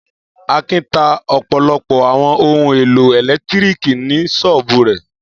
Akin ta ọ̀pọ̀lọpọ̀ àwọn ohun-èlò ẹ̀lẹ́tíríkì ní ṣọ́ọ́bù rẹ̀?